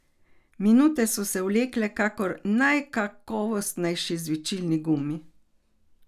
Minute so se vlekle kakor najkakovostnejši žvečilni gumi.